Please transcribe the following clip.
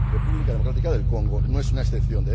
La República Democrática del Congo no es una excepción.